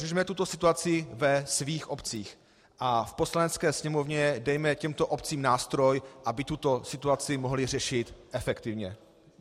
Řešme tuto situaci ve svých obcích a v Poslanecké sněmovně dejme těmto obcím nástroj, aby tuto situaci mohly řešit efektivně.